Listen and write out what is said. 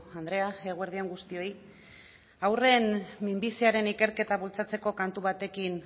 andrea eguerdi on guztioi haurren minbiziaren ikerketa bultzatzeko kantu batekin